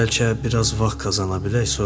Bəlkə biraz vaxt qazana bilək.